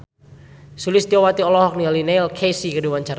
Sulistyowati olohok ningali Neil Casey keur diwawancara